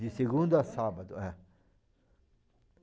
De segunda a sábado, é.